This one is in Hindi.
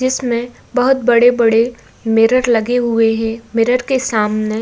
जिसमें बहोत बड़े-बड़े मिरर लगे हुएं हैं। मिरर के सामने --